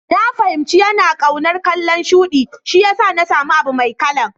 Na fahimci yana kaunar kalan shuɗi, shiyasa na samu abu Mai kalan.